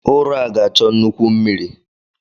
Ụrọ a ga-achọ nnukwu mmiri.